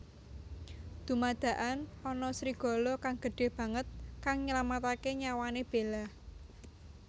Dumadakan ana serigala kang gédhé banget kang nylamataké nyawané Bella